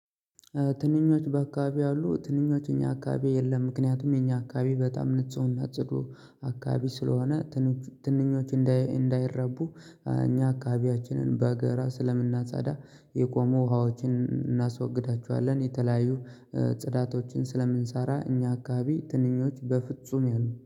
ትንኞች በአካባቢ አሉ ትንኞች የኛ አካባቢ የለም። ምክንያቱም የኛ አካባቢ በጣም ንጹህ እና ጸዱ አካባቢ ስለሆነ ትንኞች እንዳይረቡ እኛ አካባቢያችንን በገራ ስለምናጻዳ የቆሙ ውሃዎችን እናስወግዳችኋለን። የተለያዩ ጽዳቶችን ስለምንሰራ እኛ አካባቢ ትንኞች በፍጹም ያሉ